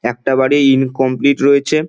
একটা বাড়ি ইনকমপ্লিট রয়েছে।